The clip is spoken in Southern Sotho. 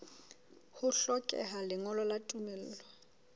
ho hlokeha lengolo la tumello